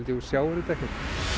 þú sjáir þetta ekkert